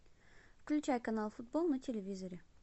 включай канал футбол на телевизоре